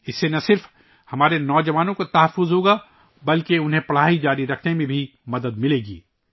اس سے نہ صرف ہمارے نوجوانوں کی حفاظت ہوگی بلکہ انہیں اپنی تعلیم جاری رکھنے میں بھی مدد ملے گی